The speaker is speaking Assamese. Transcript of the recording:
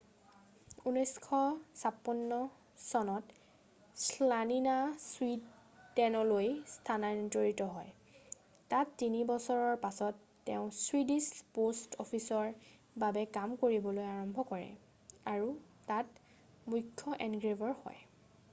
1956 চনত শ্লানিনা ছুইদেনলৈ স্থানান্তৰিত হয় তাত তিনি বছৰৰ পাছত তেওঁ ছুইডিছ প'ষ্ট অফিচৰ বাবে কাম কৰিবলৈ আৰম্ভ কৰে আৰু তাৰ মুখ্য এনগ্ৰেভাৰ হয়